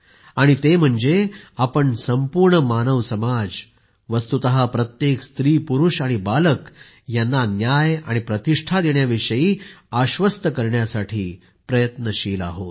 आणि ते म्हणजे आपण संपूर्ण मानव समाज वस्तूतः प्रत्येक नरनारी आणि बालक यांना न्याय आणि प्रतिष्ठा देण्याविषयी आश्वस्त करण्यासाठी प्रयत्नशील आहोत